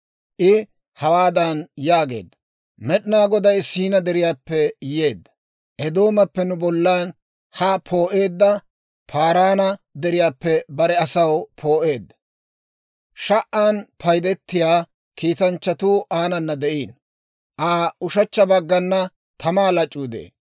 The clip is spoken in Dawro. I hawaadan yaageedda; «Med'inaa Goday Siinaa Deriyaappe yeedda; Eedoomappe nu bollan haa poo'eedda; Paaraana Deriyaappe bare asaw poo'eedda. Sha"an paydetiyaa kiitanchchatuu aanana de'iino. Aa ushechcha baggana tamaa lac'uu de'ee.